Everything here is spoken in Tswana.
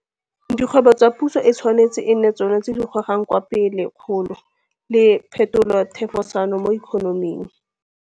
Dikgwebo tsa Puso e tshwanetse e nne tsona tse di gogang kwa pele kgolo le phetolothefosano mo ikonoming.